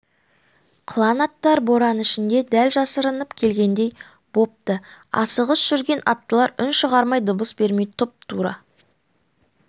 қылаң аттар боран ішінде дәл жасырынып келгендей бопты асығыс жүрген аттылар үн шығармай дыбыс бермей тұп-тура